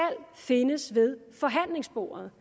findes ved forhandlingsbordet